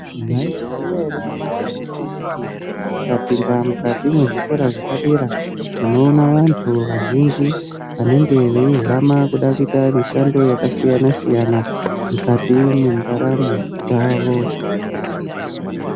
Mwaizviziya ere, nyamashi unoyu kuti tikapinda muzvikora zvepadera tinoona vantu vazhinji vanenge veizama kuda kuita mishando yakasiyana-siyana, mukati mendaramo dzavo.